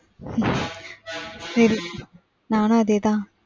சரி நானும் அதே தான்.